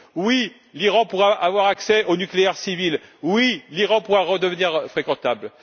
Oui, l'Iran pourra avoir accès au nucléaire civil. Oui, l'Iran pourra redevenir fréquentable.